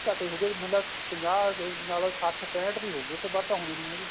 ਘੱਟ ਏ ਹੋਗੇ ਮੈਨੂੰ ਲੱਗਦਾ ਪੰਜਾਹ ਨਾਲ ਸੱਠ ਪੇਂਹਟ ਦੀ ਹੋਗੀ ਇਹਦੇ ਬਾਅਦ ਤਾਂ ਹੋਣੀ ਨਹੀਂ ਉਹਦੀ